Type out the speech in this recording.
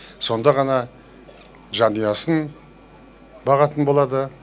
сонда ғана жанұясын бағатын болады